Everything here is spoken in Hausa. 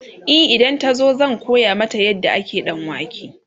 e idan ta zo zan koya mata yadda ake danwake